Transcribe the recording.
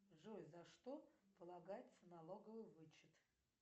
джой за что полагается налоговый вычет